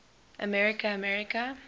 america america